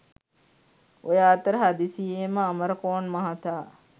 ඔය අතර හදිසියේම අමරකෝන් මහතා